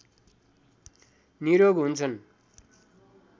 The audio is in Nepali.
निरोग हुन्छन्